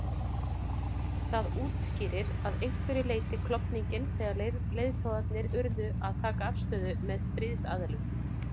Það útskýrir að einhverju leyti klofninginn þegar leiðtogarnir urðu að taka afstöðu með stríðsaðilum.